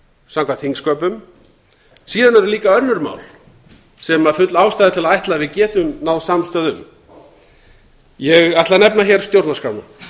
samkvæmt þingsköpum síðan eru líka önnur mál sem full ástæða er til að ætla að við getum náð samstöðu um ég ætla að nefna hér stjórnarskrána